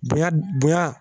Bonya bonya